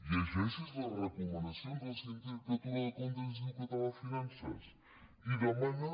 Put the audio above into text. llegeixi’s les recomanacions de la sindicatura de comptes i l’institut català de finances i demana